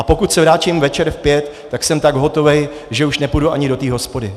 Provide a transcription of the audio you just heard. A pokud se vrátím večer v pět, tak jsem tak hotový, že už nepůjdu ani do té hospody.